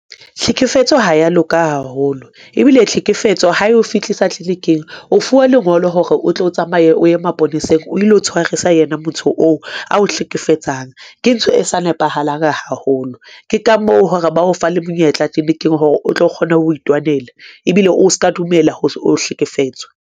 Tlhekefetso ha ya loka haholo ebile tlhekefetso ha eo fihlisa clinic-eng, o fuwa lengolo hore o tlo o tsamaye o ye maponeseng o lo tshwarisa yena motho oo ao hlekefetsang. Ke ntho e sa nepahalang haholo ke ka moo hore ba o fa le monyetla tleniking hore o tlo kgona ho itwanela ebile o ska dumela ho hlekefetswa.